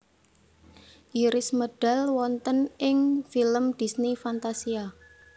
Iris medal wonten ing film Disney Fantasia